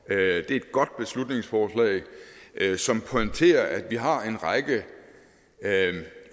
det er et godt beslutningsforslag som pointerer at vi har en række